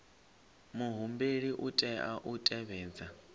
muhumbeli u tea u tevhedza